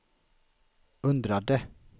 undrade